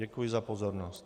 Děkuji za pozornost.